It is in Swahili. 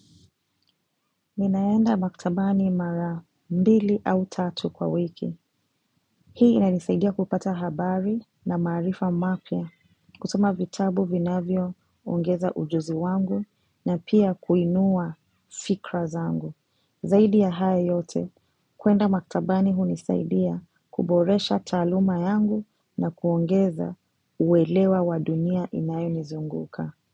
Ninaenda maktabani mara mbili au tatu kwa wiki. Hii ina nisaidia kupata habari na maarifa mapya. Kusoma vitabu vinavyo ongeza ujuzi wangu na pia kuinua fikra zangu. Zaidi ya hayo yote, kwenda maktabani hunisaidia kuboresha taaluma yangu na kuongeza uwelewa wadunia inayoni zunguka.